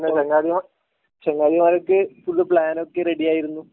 ചങ്ങായിമാർ ചങ്ങായിമാർക്ക് ഫുള്ള് പ്ലാനൊക്കെ റെഡി ആയിരുന്നു